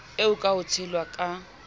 eo ka ho tshelwa ka